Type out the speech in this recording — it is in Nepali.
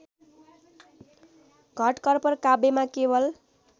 घटकर्पर काव्यमा केवल